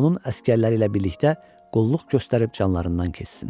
onun əsgərləri ilə birlikdə qulluq göstərib canlarından keçsinlər.